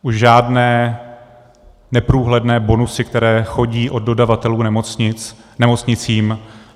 Už žádné neprůhledné bonusy, které chodí od dodavatelů nemocnicím.